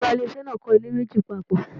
Oga ilé ìṣe náà ń kọ ilé méjì papọ